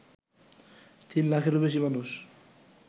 তিন লাখেরও বেশি মানুষ